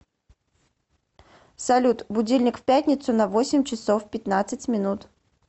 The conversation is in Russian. салют будильник в пятницу на восемь часов пятнадцать минут